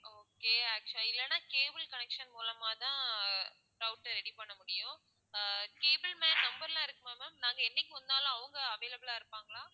okay actual ஆ இல்லன்னா cable connection மூலமாதான் router ready பண்ண முடியும் ஆஹ் cable man number லாம் இருக்குமா ma'am நாங்க என்னைக்கு வந்தாலும் அவங்க available ஆ இருப்பாங்களா?